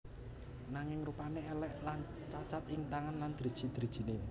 Nanging rupané èlèk lan cacat ing tangan lan driji drijiné